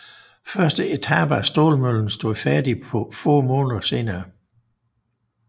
Første etape af stålmøllen stod færdig få måneder senere